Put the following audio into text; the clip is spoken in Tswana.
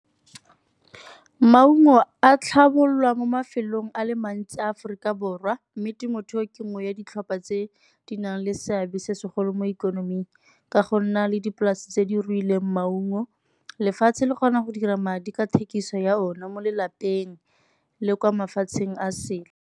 Maungo a tlhabololwa mo mafelong a le mantsi Aforika Borwa mme temothuo ke nngwe ya ditlhopha tse di nang le seabe se segolo mo ikonoming ka go nna le dipolase tse di ruileng maungo. Lefatshe le kgona go dira madi ka thekiso ya one mo lelapeng le kwa mafatsheng a sele.